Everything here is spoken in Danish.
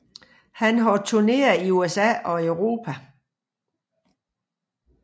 Han har turneret i USA og Europa